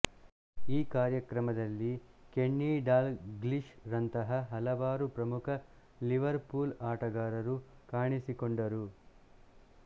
ಈ ಕಾರ್ಯಕ್ರಮದಲ್ಲಿ Kenny Dalglish ರಂತಹ ಹಲವಾರು ಪ್ರಮುಖ ಲಿವರ್ ಪೂಲ್ ಆಟಗಾರರು ಕಾಣಿಸಿಕೊಂಡರು